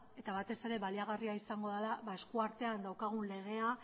eta batez ere baliagarria izango dela esku artean daukagun legea